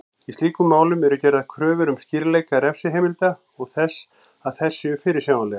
Í slíkum málum eru gerðar kröfur um skýrleika refsiheimilda og þess að þær séu fyrirsjáanlegar.